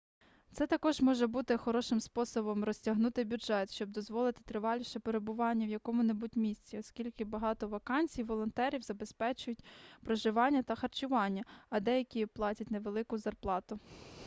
це також може бути хорошим способом розтягнути бюджет щоб дозволити триваліше перебування в якому-небудь місці оскільки багато вакансій волонтерів забезпечують проживання та харчування а деякі платять невелику зарплату